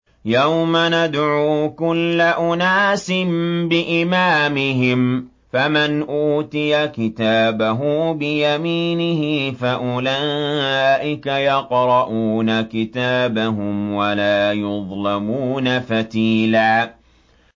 يَوْمَ نَدْعُو كُلَّ أُنَاسٍ بِإِمَامِهِمْ ۖ فَمَنْ أُوتِيَ كِتَابَهُ بِيَمِينِهِ فَأُولَٰئِكَ يَقْرَءُونَ كِتَابَهُمْ وَلَا يُظْلَمُونَ فَتِيلًا